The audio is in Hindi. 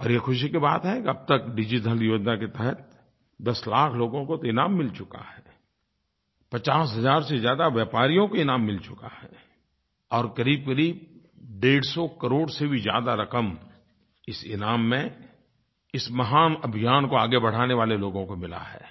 और ये ख़ुशी की बात है कि अब तक डिजिधन योजना के तहत दस लाख लोगों को तो इनाम मिल चुका है पचास हज़ार से ज़्यादा व्यापारियों को इनाम मिल चुका है और क़रीबक़रीब डेढ़ सौ करोड़ से भी ज्यादा रकम इस इनाम में इस महान अभियान को आगे बढ़ाने वाले लोगों को मिली हैI